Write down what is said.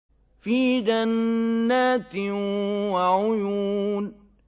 فِي جَنَّاتٍ وَعُيُونٍ